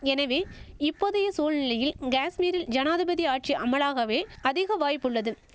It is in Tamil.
எனவே இப்போதைய சூழ்நிலையில் கேஷ்மீரில் ஜனாதிபதி ஆட்சி அமலாகவே அதிக வாய்ப்புள்ளது